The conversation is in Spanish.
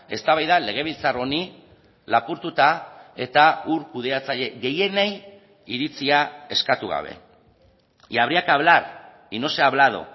eztabaida legebiltzar honi lapurtuta eta ur kudeatzaile gehienei iritzia eskatu gabe y habría que hablar y no se ha hablado